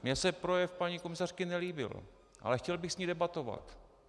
Mně se projev paní komisařky nelíbil, ale chtěl bych s ní debatovat.